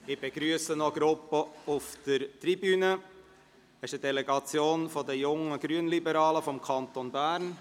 Wer die Ziffer 4 überweisen will, stimmt Ja, wer diese ablehnt, stimmt Nein.